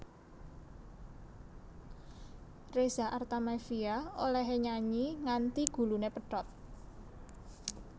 Reza Artamevia olehe nyanyi nganti gulune pedhot